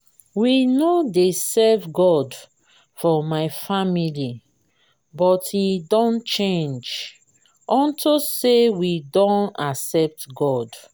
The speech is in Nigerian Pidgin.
we no dey serve god for my family but e don change unto say we don accept god